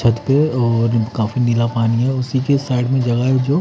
छत पे और काफी नीला पानी है उसी के साइड में जगह है जो--